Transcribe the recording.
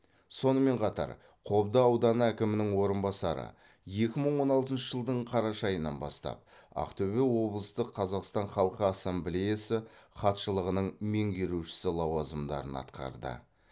сонымен қатар қобда ауданы әкімінің орынбасары екі мың он алтыншы жылдың қараша айынан бастап ақтөбе облыстық қазақстан халқы ассамблеясы хатшылығының меңгерушісі лауазымдарын атқарды